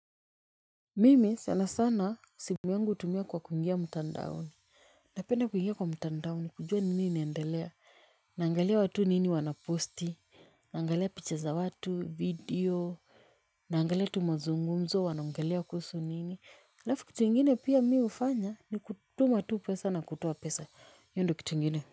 Mimi sana sana siku yangu hutumia kwa kutumia mtandaoni. Napenda kuingia kwa mtandao kujua nini inaendelea. Naangalia watu nini wanaposti. Naangalia picha za watu video. Naangalia tu mazungumzo wanaongelea kuhusu nini alafu kitu ingine pia mi hufanya ni kutuma tu pesa na kutoa pesa hiyo ndio kitu ingine.